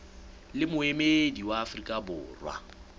le moemedi wa afrika borwa